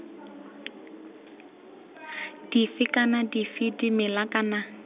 dife kana dife dimela kana